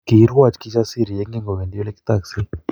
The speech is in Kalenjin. Kiirwoch Kijasiri yekingowendi olekitokse